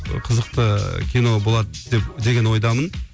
қызықты кино болады деп деген ойдамын